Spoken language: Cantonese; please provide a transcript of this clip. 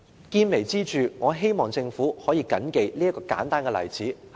見微知著，我希望政府能夠緊記這個簡單的例子。